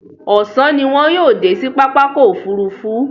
Ọ̀sán ni wọn yóò dé sí pápákọ̀ òfurufú.